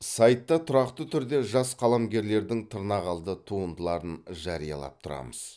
сайтта тұрақты түрде жас қаламгерлердің тырнақалды туындыларын жариялап тұрамыз